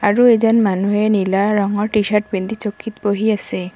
আৰু এজন মানুহে নীলা ৰঙৰ টি-চাৰ্ট পিন্ধি চকীত বহি আছে।